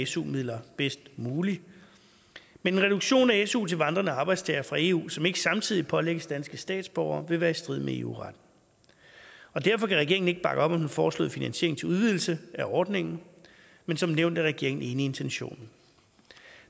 su midler bedst muligt men en reduktion af su til vandrende arbejdstagere fra eu som ikke samtidig pålægges danske statsborgere vil være i strid med eu retten derfor kan regeringen ikke bakke op om den foreslåede finansiering til udvidelse af ordningen men som nævnt er regeringen enig i intentionen